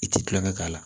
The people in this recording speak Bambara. I ti kulonkɛ k'a la